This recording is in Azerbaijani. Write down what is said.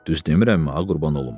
Düz demirəmmi, ay qurban olum?"